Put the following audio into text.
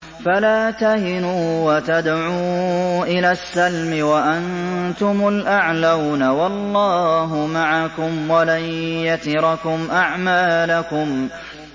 فَلَا تَهِنُوا وَتَدْعُوا إِلَى السَّلْمِ وَأَنتُمُ الْأَعْلَوْنَ وَاللَّهُ مَعَكُمْ وَلَن يَتِرَكُمْ أَعْمَالَكُمْ